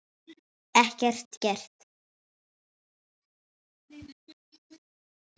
Ekkert gert?